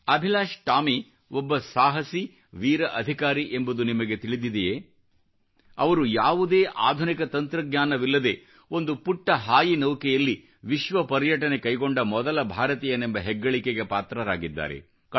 ಅಭಿಲಾಶ್ ಟಾಮಿ ಒಬ್ಬ ಸಾಹಸಿ ವೀರ ಅಧಿಕಾರಿ ಎಂಬುದು ನಿಮಗೆ ತಿಳಿದಿದೆಯೇ ಅವರು ಯಾವುದೇ ಆಧುನಿಕ ತಂತ್ರಜ್ಞಾನವಿಲ್ಲದೆ ಒಂದು ಪುಟ್ಟ ನೌಕೆಯಲ್ಲಿ ವಿಶ್ವ ಪರ್ಯಟನೆ ಕೈಗೊಂಡ ಮೊದಲ ಭಾರತೀಯನೆಂಬ ಹೆಗ್ಗಳಿಕೆಗೆ ಪಾತ್ರರಾಗಿದ್ದಾರೆ